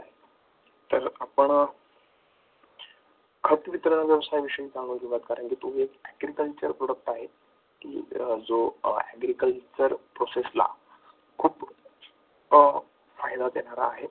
तर आपण खत वितरणा विषयी कारण तो agriculture product आहे की जो agriculture process ला खूप फायदा देणारा आहे.